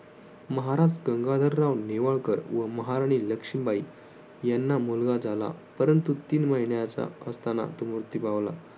महाराज गंगाधरराव नेवाळकर व महाराणी लक्ष्मीबाई याना मुलगा झाला, परंतु तीन महिन्याचा असताना तो मृत्यू पावला.